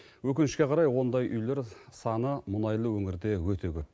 өкінішке қарай ондай үйлер саны мұнайлы өңірде өте көп